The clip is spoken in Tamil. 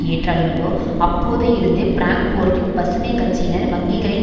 ஏற்றார்களோ அப்போது இருந்து பிராங்போர்ட்டின் பசுமை கட்சியினர் வங்கிகளின்